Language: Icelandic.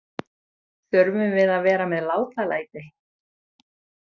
Þurfum við að vera með látalæti?